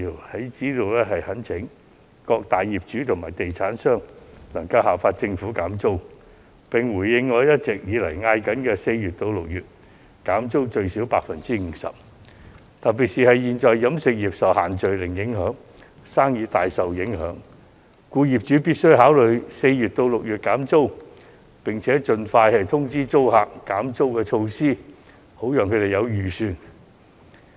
我在此懇請各大業主及地產商效法政府減租，並響應我長久以來的建議，在4月至6月最少減租 50%， 特別是飲食業現時因"限聚令"而生意大受影響，業主必須考慮4月至6月減租，並且盡快通知租客其減租措施，好讓他們有所預算。